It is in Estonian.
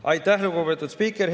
Aitäh, lugupeetud spiiker!